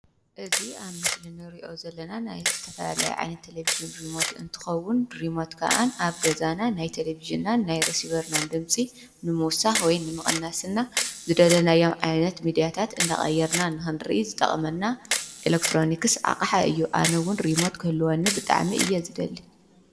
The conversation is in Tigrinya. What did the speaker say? እዚ ኣብ ምስሊ ንሪኦ ዘለና ናይ ዝተፈላለዩ ዓይነት ቴሌብዥን ሪሞት እንትኸውን ሪሞት ከዓ ኣብ ገዛና ናይ ቴሌብዥናን ናይ ረሲቨርናን ድምፂ ንምውሳኽን፣ ንምቕናስ ዝደለናዮ ዓይነት ሚዲያታት እንዳቐየርና ንኽንሪኢ ዝጠቕመና ናይ ኤሌክትሮኒክስ ኣቕሓ እዩ። ኣነ እውን ሪሞት ክህልወኒ ብጣዕሚ እየ ዝደሊ።